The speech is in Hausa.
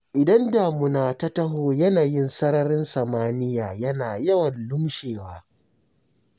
Idan damuna ta taho yanayin sararin samaniya yana yawan lumshewa.